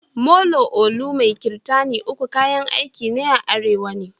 Molo, ulu mai kirtani uku kayan aiki ne a arewa ne.